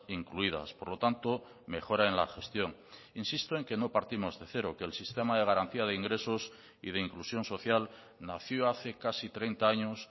incluidas por lo tanto mejora en la gestión insisto en que no partimos de cero que el sistema de garantía de ingresos y de inclusión social nació hace casi treinta años